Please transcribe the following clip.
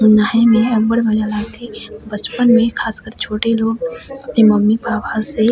नहाए में अब्बड़ मजा आथे बचपन में खास करके छोटे लोग अपने मम्मी-पापा से--